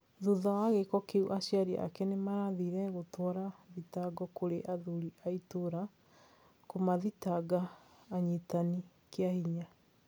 Thutha wa gĩko kĩu aciari ake nĩmathire gũtwara thitango kũrĩ athuri aitũra kũmathikanga anyitani kĩahinya